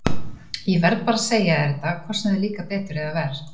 Ég verð bara að segja þér þetta, hvort sem þér líkar betur eða verr.